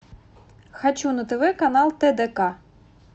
хочу на тв канал тдк